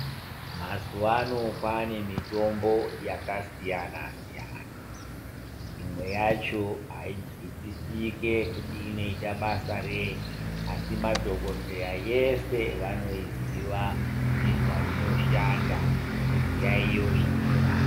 Mazuwaano kwaane mitombo yakasiyana siyana imwe yacho ainzwisisike kuti inoita basa rei asi madhokodheya yese vanoiziva nezvainoshanda nezviyaiyo zvainorapa.